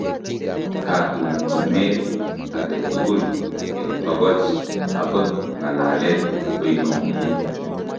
Katumtumet aketugul eng' togoch akot ng'alalet koinomuu